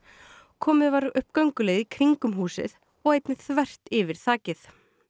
komið var upp gönguleið í kringum húsið og einnig þvert yfir þakið